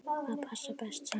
Hvað passar best saman?